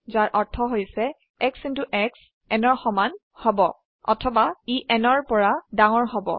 যাৰ অৰ্থ হৈছে x শ্ব n ৰ সমান হব অথবা ই nৰ ৰ পৰা ডাঙৰ হব